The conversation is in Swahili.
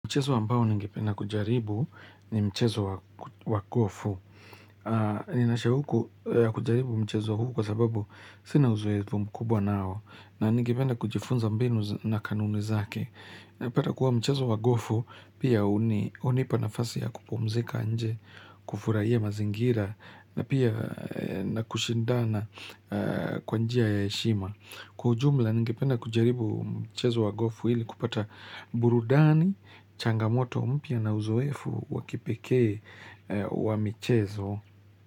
Mchezo ambao ningependa kujaribu ni mchezo wa gofu. Nina shauku ya kujaribu mchezo huu kwa sababu sina uzoefu mkubwa nao. Na ningependa kujifunza mbinu na kanuni zake. Napata kuwa mchezo wa gofu, pia hunipa nafasi ya kupumzika nje, kufurahia mazingira, na pia na kushindana kwa njia ya heshima. Kwa ujumla ningependa kujaribu mchezo wa gofu ili kupata burudani, changamoto mpya na uzoefu wa kipekee wa michezo.